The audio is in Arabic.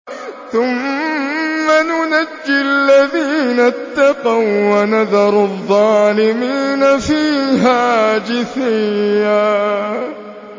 ثُمَّ نُنَجِّي الَّذِينَ اتَّقَوا وَّنَذَرُ الظَّالِمِينَ فِيهَا جِثِيًّا